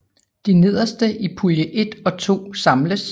De 7 nederste i pulje 1 og 2 samles